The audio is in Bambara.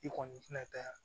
I kɔni tɛna taa